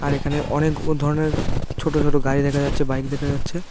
আর এখানে অনেক ও ধরনের ছোট ছোট গাড়ি দেখা যাচ্ছে বাইক দেখা যাচ্ছে।